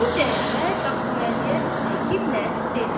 Bu cəhətə Qasıməliyə təkidlə dedi.